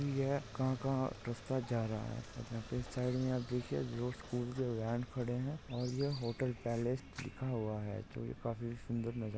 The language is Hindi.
यह कहा का रस्ता जा रहा है और यहा पे साइड मे आप देखिये दो स्कूल के व्हेन खड़े है और यह होटल पॅलेस लिखा हुआ है जो ये काफी सुंदर नजार--